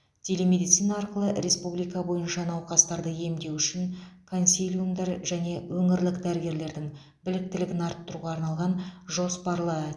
телемедицина арқылы республика бойынша науқастарды емдеу үшін консилиумдар және өңірлік дәрігерлердің біліктілігін арттыруға арналған жоспарлы